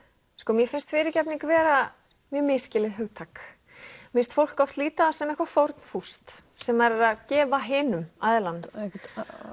mér finnst fyrirgefning vera mjög misskilið hugtak mér finnst fólk oft líta á það sem eitthvað fórnfúst sem maður er að gefa hinum aðilanum einhver